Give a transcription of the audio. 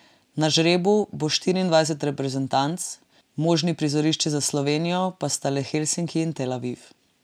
Na žrebu bo štiriindvajset reprezentanc, možni prizorišči za Slovenijo pa sta le Helsinki in Tel Aviv.